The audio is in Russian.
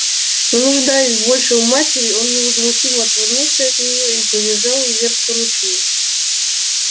не нуждаясь больше в матери он невозмутимо отвернулся от неё и побежал вверх по ручью